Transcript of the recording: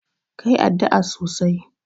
ka yi addu'a sosai.!